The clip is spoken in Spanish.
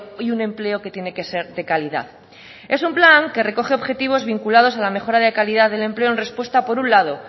y un empleo que tiene que ser de calidad es un plan que recoge objetivos vinculados a la mejora de calidad del empleo en respuesta por un lado